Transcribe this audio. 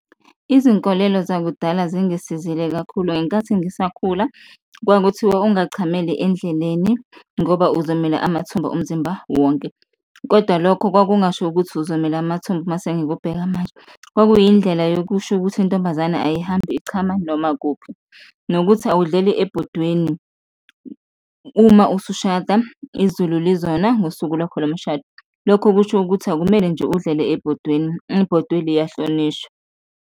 Izinkolelo zakudala singisizile kakhulu, ngenkathi ngisakhula kwakuthiwa ungachameli endleleni ngoba uzomila amathumba umzimba wonke kodwa lokho kwakungasho ukuthi uzomila amathumba mase ngikubheka manje, kwakuyindlela yokusho ukuthi intombazane ayihambi ichama noma kuphi. Nokuthi awudluleli ebhodweni, uma usushada izulu lizona ngosuku lwakho lomshado, lokho kusho ukuthi akumele nje udlele ebhodweni, ibhodwe liyahlonishwa.